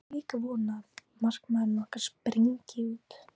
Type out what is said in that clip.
Ég á líka von á að markmaðurinn okkar spryngi út.